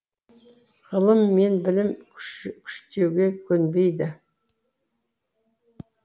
ғылым мен білім күштеуге көнбейді